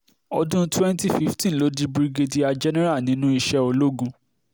ọdún 2015 ló di birígédíà jẹ́nẹ́ra nínú iṣẹ́ ológun